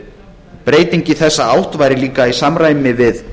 breyting í þessa átt væri líka í samræmi við